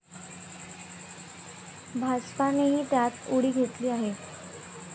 भाजपानेही त्यात उडी घेतली आहे.